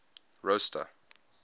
rosta